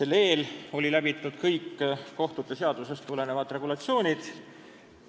Enne seda olid läbitud kõik kohtute seadusest tulenevad etapid.